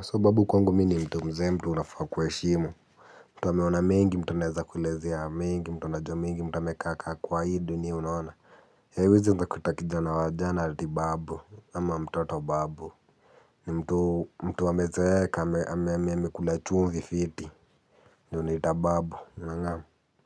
So babu kwangu mi ni mtu mzee mtu unafaa kueshimu. Mtu ameona mengi mtu anaeza kuelezea mengi. Mtu anajua mengi mtu amekaa kaa kwa hii dunia unaona. Haiwezi ungekuita kijana wa jana ati babu ama mtoto babu. Ni mtu mtu amezeeka ame ame ame kula chumvi fiti ndo unaita babu nangamu.